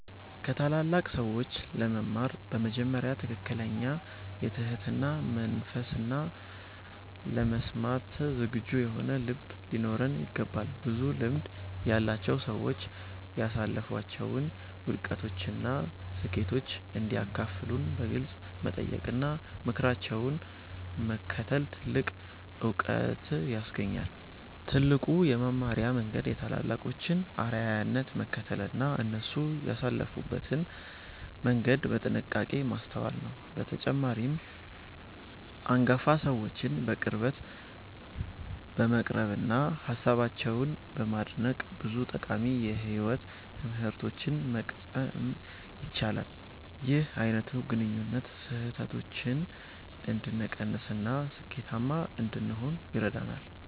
ከታላላቅ ሰዎች ለመማር በመጀመሪያ ትክክለኛ የትህትና መንፈስና ለመስማት ዝግጁ የሆነ ልብ ሊኖረን ይገባል። ብዙ ልምድ ያላቸው ሰዎች ያሳለፏቸውን ውድቀቶችና ስኬቶች እንዲያካፍሉን በግልጽ መጠየቅና ምክራቸውን መከተል ትልቅ ዕውቀት ያስገኛል። ትልቁ የመማሪያ መንገድ የታላላቆችን አርአያነት መከተልና እነሱ ያለፉበትን መንገድ በጥንቃቄ ማስተዋል ነው። በተጨማሪም፣ አንጋፋ ሰዎችን በቅርበት በመቅረብና ሃሳባቸውን በማድነቅ ብዙ ጠቃሚ የሕይወት ትምህርቶችን መቅሰም ይቻላል። ይህ አይነቱ ግንኙነት ስህተቶችን እንድንቀንስና ስኬታማ እንድንሆን ይረዳናል።